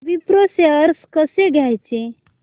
Wipro shares कसे घ्यायचे